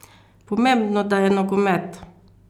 Pomembno, da je nogomet!